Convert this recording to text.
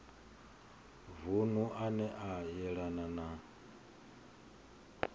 vunu ane a yelana na